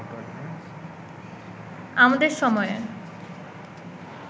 আমাদের সময়ে